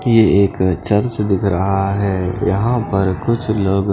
ये एक चर्च दिख रहा है यहाँ पर कुछ लोग --